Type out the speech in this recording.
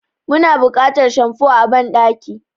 Muna buƙatar shamfo a banɗaki.